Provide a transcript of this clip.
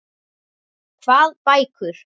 Hvað bækur?